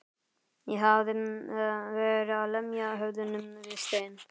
Ég hafði verið að lemja höfðinu við stein.